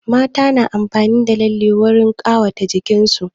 Mata na amfani da lalle wurin ƙawata jikin su